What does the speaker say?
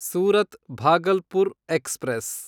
Surat Bhagalpur express